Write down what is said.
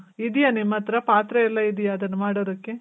ಹೌದಾ? ನಿಮ್ ಹತ್ರ ಪಾತ್ರೆ ಎಲ್ಲ ಇದೀಯ ಅದನ್ ಮಾಡೋದಕ್ಕೆ?